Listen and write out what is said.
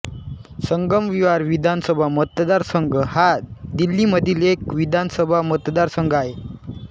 संगमविहार विधानसभा मतदारसंघ हा दिल्लीमधील एक विधानसभा मतदारसंघ आहे